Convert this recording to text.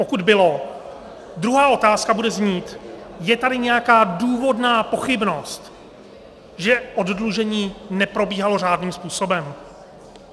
Pokud bylo, druhá otázka bude znít: Je tady nějaká důvodná pochybnost, že oddlužení neprobíhalo řádným způsobem?